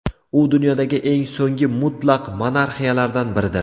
U dunyodagi eng so‘nggi mutlaq monarxiyalardan biridir.